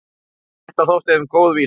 Þetta þótti þeim góð vísa.